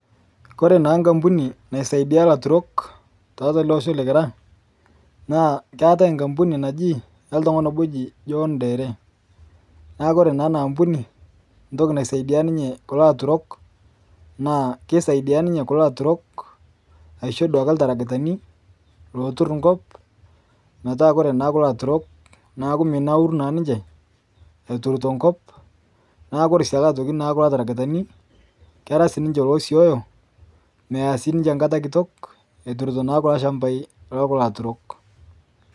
Kore naa nkampuni naisaidia laturok tiatu eleosho likira na keetai nkampuni nabo oltungani oji jonh ndere neaku ore na enaampuni entoki naisaidia kulo aturok na kisaidia ninye kulobaturok ashu ltarakitani lotur nkopmetaa ore kulo aturok neaku menauru ninche eturito nkop neaku ore kulo tarakitani keetai sinche losioyo meya sinche nkata litok eturito lchmbai okulo aturok.